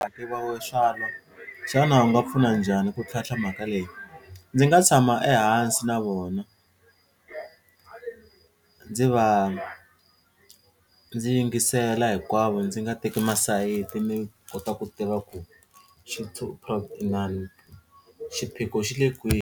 xana u nga pfuna njhani ku tlhantlha mhaka leyi? Ndzi nga tshama ehansi na vona ndzi va ndzi yingisela hinkwavo ndzi nga teki masayiti ni kota ku tiva ku inani xiphiqo xi le kwihi.